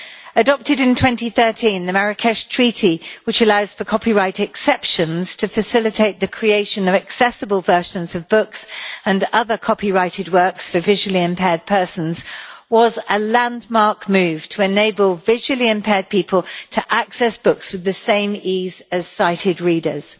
Adopted in 2013, the Marrakesh Treaty, which allows for copyright exceptions to facilitate the creation of accessible versions of books and other copyrighted works for visually impaired persons was a landmark move to enable visually impaired people to access books with the same ease as sighted readers.